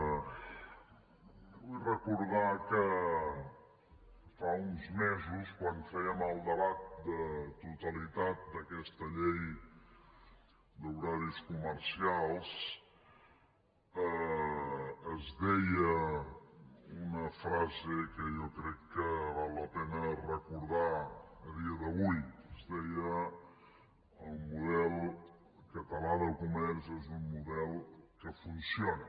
vull recordar que fa uns mesos quan fèiem el debat de totalitat d’aquesta llei d’horaris comercials es deia una frase que jo crec que val la pena recordar a dia d’avui es deia el model català de comerç és un model que funciona